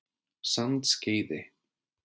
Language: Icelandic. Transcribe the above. Sandskeiði